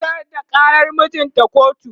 ta shigar da ƙarar mijinta kotu